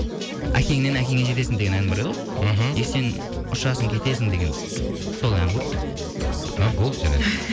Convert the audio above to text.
әкеңнен әкеңе жетесің деген ән бар еді ғой мхм и сен ұшасың кетесің деген сол ән ғой а болды жарайды